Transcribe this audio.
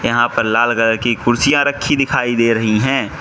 यहां पर लाल कलर की कुर्सियां रखी दिखाई दे रही हैं।